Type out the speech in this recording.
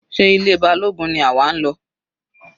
Sé ilé Balógun ni àwa ń lọ?